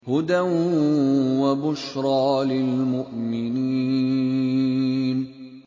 هُدًى وَبُشْرَىٰ لِلْمُؤْمِنِينَ